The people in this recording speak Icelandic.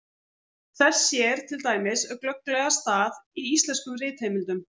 Þess sér til dæmis glögglega stað í íslenskum ritheimildum.